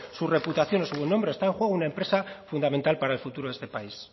su reputación o su buen nombre está en juego una empresa fundamental para el futuro de este país